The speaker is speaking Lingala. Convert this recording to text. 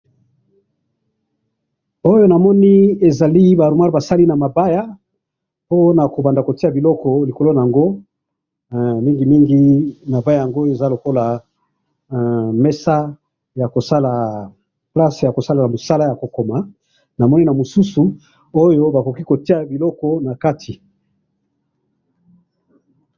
oyo namoni ezaliba armoir basali namabaya oyo bakobanda kotiya nakati biloko nayango mingimingi mabaya yango ezalokola mesa place ya kosala biloko ya kokoma namoni na mosusu oyo bakoki kotiya biloko nakati